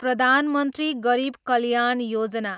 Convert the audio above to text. Pradhan Mantri Garib Kalyan Yojana